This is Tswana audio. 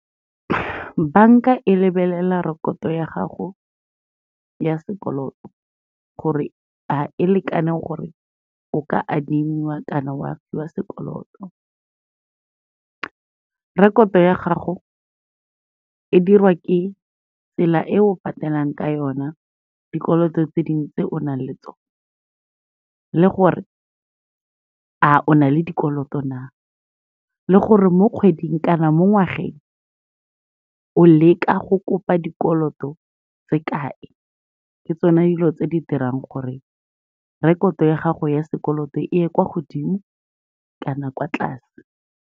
Banka e lebelela rekoto ya gago ya sekoloto, gore a e lekaneng gore o ka adimiwa kana wa fiwa sekoloto. Rekoto ya gago e diriwa ke tsela e o patelang ka yona dikoloto tse dintsi tse onaleng tsona, le gore a o na le dikoloto na, le gore mo kgweding kana mo ngwageng o leka go kopa dikoloto tse kae. Ke tsona dilo tse di dirang gore rekoto ya gago ya sekoloto, e ye kwa godimo kana kwa tlase.